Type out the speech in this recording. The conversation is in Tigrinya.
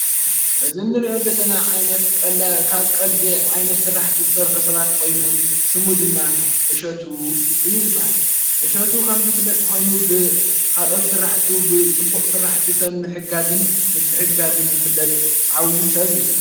እዝ ንርእኦት ዘለና ካብ ቀልደ ዓይነት ሥራሕቲ ዝሠርኁ ሰባት ኾይኑ ስሙ ድማ እሸቱ እዩ ዝበሃል እሸቱ ኸም ዝፍለጥ ኾይኑ ብኻልኦት ሥራሕቱ ብጽቡቕ ሥራሕቲ ሰብ ምሕጋዝን ምት ሕጋዝን ዘፍለጥ ዓዊዪ ሰብ እዩ።